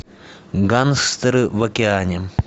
гангстеры в океане